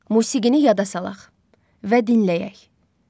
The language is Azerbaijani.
Musiqini yada salaq və dinləyək.